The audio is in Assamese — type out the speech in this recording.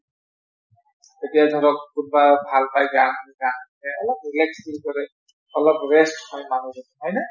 তেতিয়া ধৰক কোনবা ভাল পাই গান গান অলপ relax feel কৰে অলপ rest হয় মানুহ জন হয়নে ।